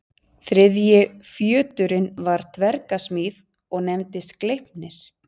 Þriðji fjöturinn var dverga smíð og nefndist Gleipnir.